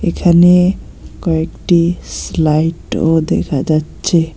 এখানে কয়েকটি স্লাইডও দেখা যাচ্ছে।